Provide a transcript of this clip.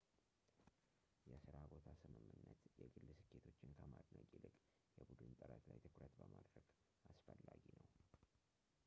የስራ ቦታ ስምምነት የግል ስኬቶችን ከማድነቅ ይልቅ የቡድን ጥረት ላይ ትኩረት በማድረግ አስፈላጊ ነው